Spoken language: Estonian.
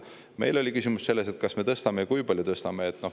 Meil oli küsimus selles, kas me tõstame ja kui palju me tõstame.